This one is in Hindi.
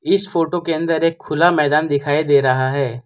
इस फोटो के अंदर एक खुला मैदान दिखाई दे रहा है।